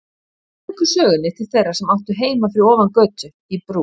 Nú víkur sögunni til þeirra sem áttu heima fyrir ofan götu, í Brú.